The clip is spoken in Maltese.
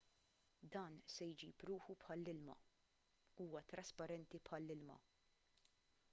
dan se jġib ruħu bħall-ilma huwa trasparenti bħall-ilma